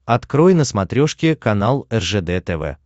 открой на смотрешке канал ржд тв